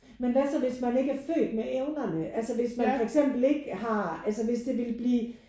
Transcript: Men hvad så hvis man ikke er født med evnerne altså hvis man for eksempel ikke har altså hvis det ville blive